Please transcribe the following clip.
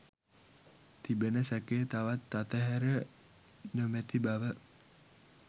තිබෙන සැකය තවත් අතහැර නොමැති බව